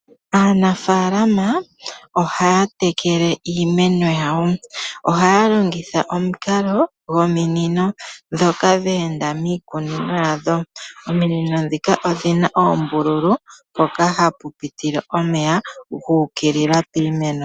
Aanafalama ohaya tekele iimeno yawo. Ohaya longitha omikalo dho minino, ndhoka dheenda miikuniko yadho. Ominijo ndhika odhina oombululu mpoka hapu pitile omeya ga ukilila kiimeno.